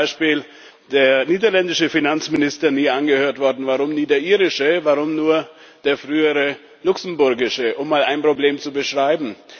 Warum ist zum Beispiel der niederländische Finanzminister nie angehört worden, warum nie der irische, warum nur der frühere luxemburgische, um mal ein Problem zu beschreiben?